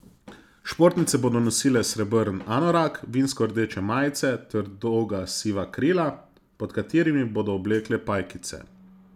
Športnice bodo nosile srebrn anorak, vinsko rdeče majice ter dolga siva krila, pod katerimi bodo oblekle pajkice.